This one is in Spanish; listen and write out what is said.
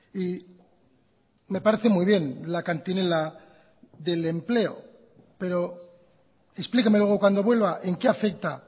y me parece muy bien la cantinela del empleo pero explíqueme luego cuando vuelva en qué afecta